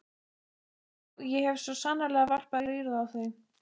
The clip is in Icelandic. Já, ég hef svo sannarlega varpað rýrð á þau.